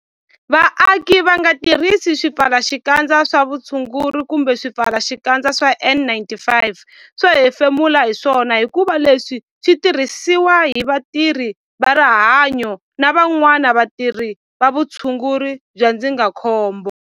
Vaaki va nga tirhisi swipfalaxikandza swa vutshunguri kumbe swipfalaxikandza swa N-95 swo hefemula hi swona hikuva leswi swi tirhisiwa hi vatirhi va rihanyo na van'wana vatirhi va vutshunguri bya ndzindzakhombo.